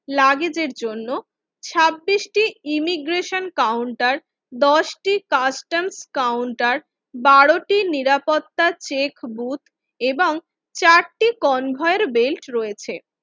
লাগেজের জন্য ছাব্বিশ টি ইমিগ্রেশন কাউন্টার দশটি কাস্টম কাউন্টার বারো টি নিরাপত্তার চেক বুথ এবং চারটি কনভার্ট বেল্ট রয়েছে